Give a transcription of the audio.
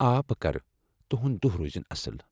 آ، بہٕ کرٕ۔ تہنٛد دۄہ روٗزِن اصٕل۔